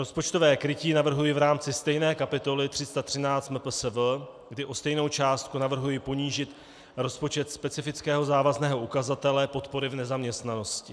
Rozpočtové krytí navrhuji v rámci stejné kapitoly 313 MPSV, kdy o stejnou částku navrhuji ponížit rozpočet specifického závazného ukazatele podpory v nezaměstnanosti.